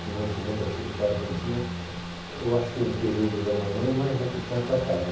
Primeiro, segundo, terceiro e quarto ano tinha, eu acho que um período da manhã e mais outro tanto à tarde.